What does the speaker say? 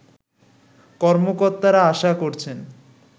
কর্মকর্তারা আশা করছেন